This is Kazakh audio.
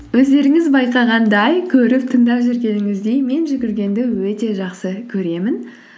өздеріңіз байқағандай көріп тыңдап жүргеніңіздей мен жүгіргенді өте жақсы көремін